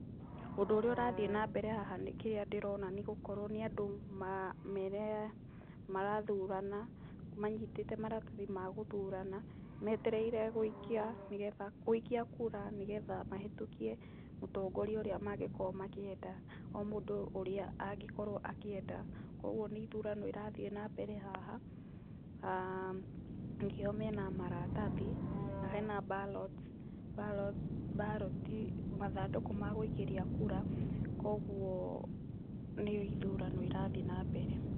Ũndũ ũrĩa ũrathiĩ na mbere haha Kĩrĩa ndĩrona nĩ gũkorwo nĩ andũ marathurana manyitĩte maratathi ma gũthurana, metereire gũikia nĩ getha gũikia kura nĩ getha mahĩtũkie mũtongoria ũrĩa mangĩkorwo makĩenda, o mũndũ ũrĩa angĩkorwo akĩenda. Koguo nĩ ithurano irathiĩ na mbere haha, nĩkĩo mena maratathi na hena ballots, ballot, mathandũkũ ma gũikĩria kura, koguo nĩ ithurano irathiĩ na mbere.